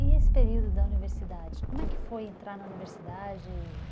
E esse período da universidade, como é que foi entrar na universidade?